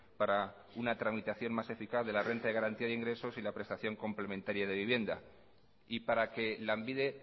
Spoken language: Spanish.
para una tramitación más eficaz de la renta de garantía de ingresos y la prestación complementaria de vivienda y para que lanbide